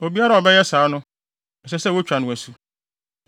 Obiara a ɔbɛyɛ saa no, ɛsɛ sɛ wotwa no asu.”